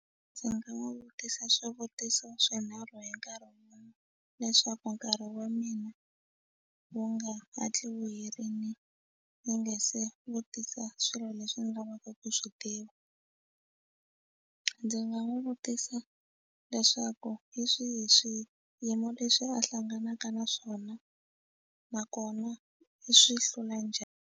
Ndzi nga n'wi vutisa swivutiso swinharhu hi nkarhi wun'wani leswaku nkarhi wa mina wu nga hatli vuyeriwile ndzi nga se vutisa swilo leswi ndzi lavaka ku ku swi tiva ndzi nga n'wi vutisa leswaku hi swihi swilo leswi a hlanganaka na swona nakona i swi hlula njhani.